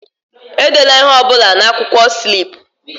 Edela ihe ọ bụla na onye na-akwụkwọ slip!